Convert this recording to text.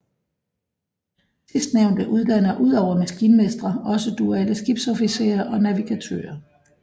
Sidstnævnte uddanner udover maskinmestre også duale skibsofficerer og navigatører